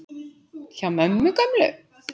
Hjá mömmu gömlu?!